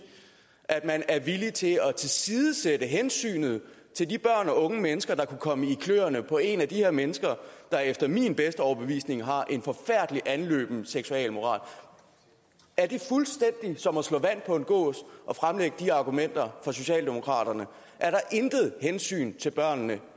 at man er villig til at tilsidesætte hensynet til de børn og unge mennesker der kunne komme i kløerne på et af de her mennesker der efter min bedste overbevisning har en forfærdelig anløben seksualmoral er det fuldstændig som at slå vand på en gås at fremlægge de argumenter for socialdemokraterne er der intet hensyn til børnene